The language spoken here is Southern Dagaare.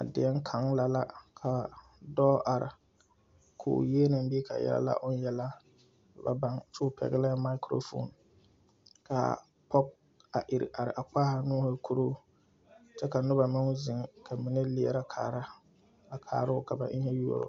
A deɛŋ kaŋ la la ka dɔɔ are koo yieloŋ bee ka yɛlɛ oŋ yela o ba baŋ kyoo pɛglɛɛ mikrofoon kaa pɔge a ire are a kpaaha nuuhi korɔ kyɛ ka nobɔ meŋ zeŋ ka mine leɛrɛ kaara a kaaroo ka ba eŋɛ yuoro.